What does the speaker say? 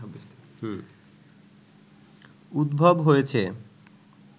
উদ্ভব হয়েছে